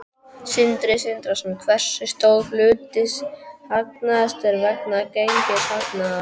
Sindri Sindrason: Hversu stór hluti hagnaðarins er vegna gengishagnaðar?